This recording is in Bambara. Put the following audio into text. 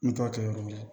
N t'a kɛ yɔrɔ wɛrɛ ye